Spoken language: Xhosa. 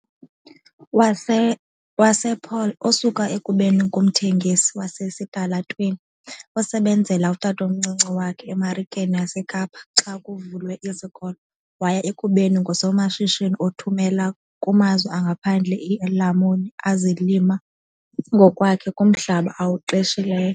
wasePaarl, osuke ekubeni ngumthengisi wasesitalatweni osebenzela utatomncinci wakhe eMarikeni yaseKapa xa kuvulwe izikolo waya ekubeni ngusomashishini othumela kumazwe angaphandle iilamuni azilima ngokwakhe kumhlaba awuqeshileyo.